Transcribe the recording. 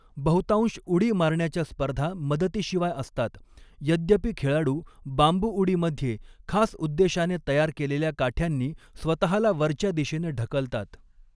बहुतांश उडी मारण्याच्या स्पर्धा मदतीशिवाय असतात, यद्यपि खेळाडू बांबू उडी मध्ये खास उद्देशाने तयार केलेल्या काठ्यांनी स्वतहाला वरच्या दिशेने ढकलतात.